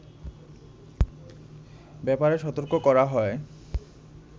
ব্যাপারে সতর্ক করা হয়